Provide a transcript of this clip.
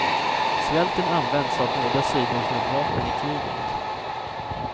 Svälten används av båda sidor som ett vapen i kriget.